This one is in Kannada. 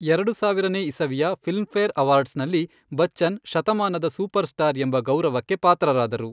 ಎರಡು ಸಾವಿರನೇ ಇಸವಿಯ ಫಿಲ್ಮ್ಫೇರ್ ಅವಾರ್ಡ್ಸ್ನಲ್ಲಿ, ಬಚ್ಚನ್ ಶತಮಾನದ ಸೂಪರ್ಸ್ಟಾರ್ ಎಂಬ ಗೌರವಕ್ಕೆ ಪಾತ್ರರಾದರು.